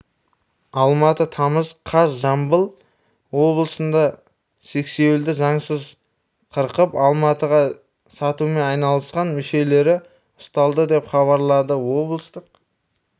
алматы тамыз қаз жамбыл облысында сексеуілді заңсыз қырқып алматыға сатумен айналдысқан мүшелері ұсталды деп хабарлады облыстық